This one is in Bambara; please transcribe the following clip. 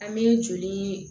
An bɛ joli